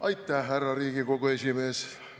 Aitäh, härra Riigikogu esimees!